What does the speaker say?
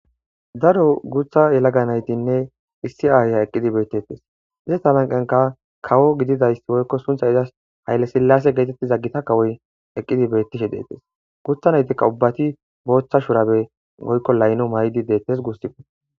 Daro gutha yelaga naytinne issi ayiya eqi beetetes ista sinthanka kawo gididays sunthay izas hayle silase gididays eqidi betesgutja naytika ubati bootha shubare woyko laylo mayidi deetes gusa